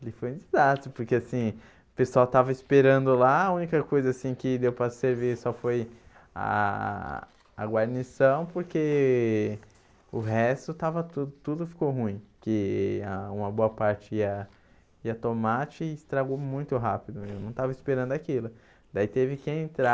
ele foi um desastre, porque assim, o pessoal estava esperando lá, a única coisa assim que deu para servir só foi a a a a guarnição, porque o resto estava tudo, tudo ficou ruim, que ah uma boa parte ia ia tomate e estragou muito rápido, eu não tava esperando aquilo, daí teve que entrar o